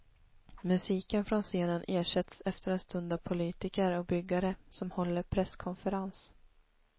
Musiken från scenen ersätts efter en stund av politiker och byggare som håller presskonferens.